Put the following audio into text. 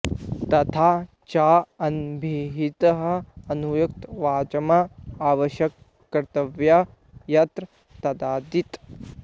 तथा च अनभिहितं अनुक्तं वाच्यम् अवश्यवक्तव्यं यत्र तदिति